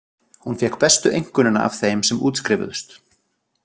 Hún fékk bestu einkunnina af þeim sem útskrifuðust.